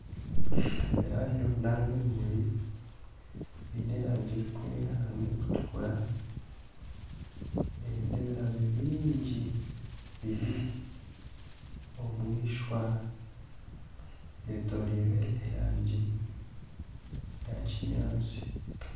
Ebirabyo ninga ebimuri biine erangi erikwera n'erikutukura ebi n'ebirabyo bingi biri omwishwa byetoreirwe erangi ya kinyaansi.